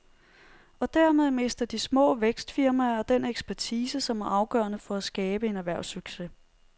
Og dermed mister de små vækstfirmaer den ekspertise, som er afgørende for at skabe en erhvervssucces.